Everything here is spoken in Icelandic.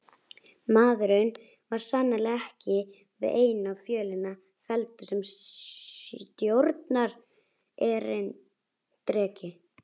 Maðurinn var sannarlega ekki við eina fjölina felldur sem stjórnarerindreki!